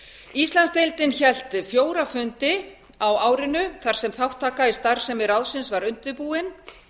íslandsdeildin hélt fjóra fundi á árinu þar sem þátttaka í starfsemi ráðsins var undirbúin